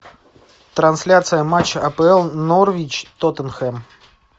трансляция матча апл норвич тоттенхэм